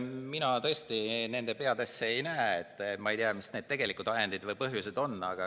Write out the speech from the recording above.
Mina tõesti nende peadesse ei näe, nii et ma ei tea, mis need tegelikud ajendid ja põhjused on.